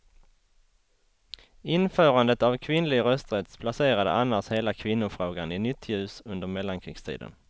Införandet av kvinnlig rösträtt placerade annars hela kvinnofrågan i nytt ljus under mellankrigstiden.